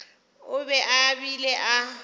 o be a bile a